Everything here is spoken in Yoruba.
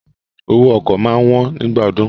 Owó ọkọ̀ máa wón nígbà ọdún.